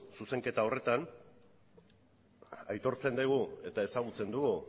zuzenketa horretan aitortzen degu eta ezagutzen dugu